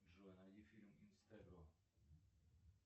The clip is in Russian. джой найди фильм инстегро